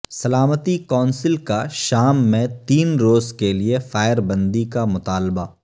سلامتی کونسل کا شام میں تین روز کے لیے فائربندی کا مطالبہ